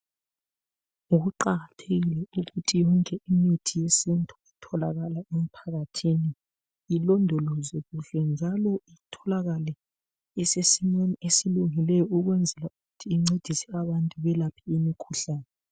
Kuqakathekile ukuthi yonke imithi yesintu itholakale emphakathini, ilondolozwe kuhle njalo itholakale isesimeni esilungileyo ukwenzela ukuthi incedise abantu belaphe imikhuhlane